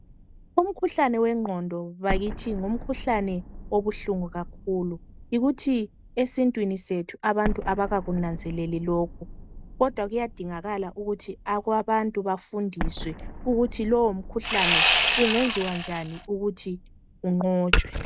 Umkhuhlane wengqondo bakithi ngumkhuhlane obuhlungu kakhulu yikuthi esintwini sethu abantu abakakunanzeleli lokhu kodwa kuyadingakala ukuthi abantu bafundiswe ukuthi lowu mkhuhlane kungenziwa njani ukuthi unqotshwe.